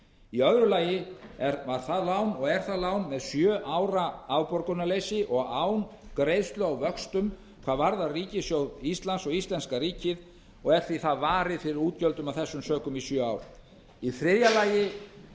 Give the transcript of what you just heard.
í öðru lagi er það lán með sjö ára afborgunarleysi og án greiðslu á vöxtum hvað varðar ríkissjóð íslands og íslenska ríkið og er það því varið fyrir útgjöldum af þessum sökum í sjö ár í þriðja lagi